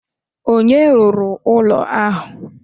Onye rụrụ ụlọ ahụ?